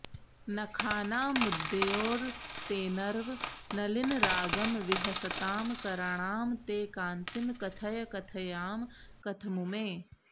नखानामुद्द्योतैर्नवनलिनरागं विहसतां कराणां ते कान्तिं कथय कथयामः कथमुमे